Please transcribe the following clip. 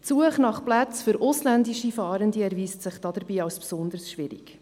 Die Suchen nach Plätzen für ausländische Fahrende erweist sich dabei als besonders schwierig.